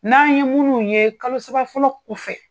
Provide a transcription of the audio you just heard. N'an ye minnu ye kalo saba fɔlɔ fɛ